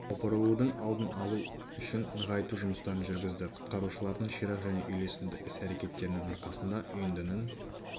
опырылудың алдын алдын алу үшін нығайту жұмыстарын жүргізді құтқарушылардың ширақ және үйлесімді іс-әрекеттерінің арқасында үйіндінің